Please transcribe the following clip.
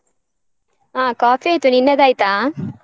ಆಹ್ coffee ಆಯ್ತು, ನಿನ್ನದಾಯ್ತಾ?